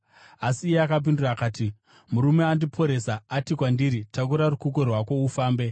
Asi iye akapindura akati, “Murume andiporesa ati kwandiri, ‘Takura rukukwe rwako ufambe.’ ”